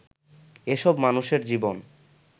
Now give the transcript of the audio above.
এসব মানুষের জীবন